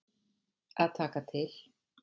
Að taka til.